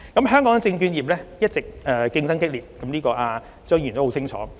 香港證券業一直競爭激烈，張議員很清楚這一點。